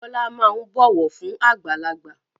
Bọlá máa ń bọ̀wọ̀ fún àgbàlagbà